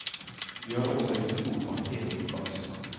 Vi har også en stor parkeringsplass.